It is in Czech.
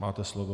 Máte slovo.